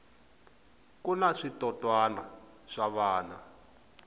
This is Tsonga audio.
kuna switotrna swa vana